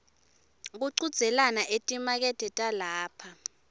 kuchudzelana etimakethe talapha